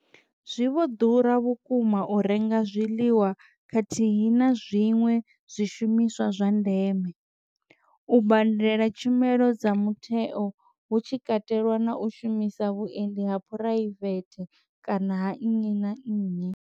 Zwi vho ḓura vhukuma u renga zwiḽiwa khathihi na zwiṅwe zwishumiswa zwa ndeme, u badela tshumelo dza mutheo hu tshikatelwa na u shumisa vhuendi ha phuraivethe kana ha nnyi na nnyi.